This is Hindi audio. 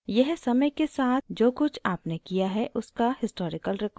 यह समय के साथ जो कुछ आपने किया है उसका historical record देता है